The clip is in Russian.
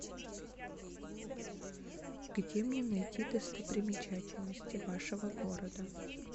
где мне найти достопримечательности вашего города